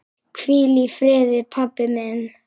Hvíl í friði, pabbi minn.